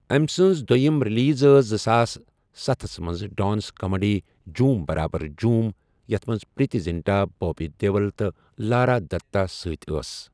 أمۍ سٕنٛز دوٚیِمۍ ریلیز ٲس زٕساس ستس منٛز ڈانس کامیڈی جھوٗم برابر جھوٗم، یَتھ منٛز پریتی زنٹا، بوبی دیول، تہٕ لارا دتہ سۭتۍ ٲسۍ۔